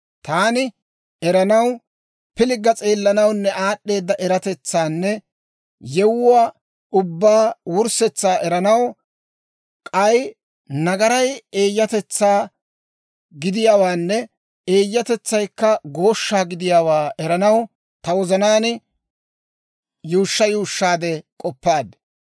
Taani eranaw, pilgga s'eellanawunne aad'd'eeda eratetsaanne yewuwaa ubbaa wurssetsaa eranaw, k'ay nagaray eeyyatetsaa gidiyaawaanne eeyyatetsaykka gooshshaa gidiyaawaa eranaw, ta wozanaan yuushsha yuushshaadde k'oppaad.